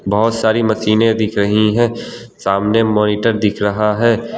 बहुत सारी मशीनें दिख रही हैं सामने मॉनिटर दिख रहा है।